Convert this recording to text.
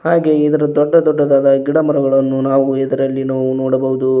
ಹಾಗೆ ಇದರ ದೊಡ್ಡ ದೊಡ್ಡದಾದ ಗಿಡ ಮರಗಳನ್ನು ನಾವು ಇದರಲ್ಲಿ ನಾವು ನೋಡಬಹುದು.